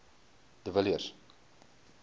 de villiers